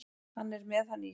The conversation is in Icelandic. Hann er með hann í sér.